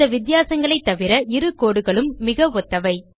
இந்த வித்தியாசங்களைத் தவிர இரு codeகளும் மிக ஒத்தவை